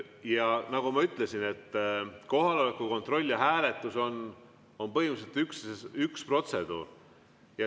Ja nagu ma ütlesin, kohaloleku kontroll ja hääletus on põhimõtteliselt üks protseduur.